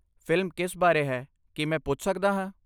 Film ਕਿਸ ਬਾਰੇ ਹੈ, ਕੀ ਮੈਂ ਪੁੱਛ ਸਕਦਾ ਹਾਂ?